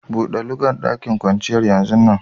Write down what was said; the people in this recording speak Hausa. Bude lugan daƙin kwanciyar yanzun nan!